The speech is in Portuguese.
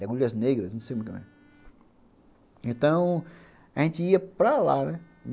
Legúndias Negras, não sei como que é. Então, a gente ia para lá, né?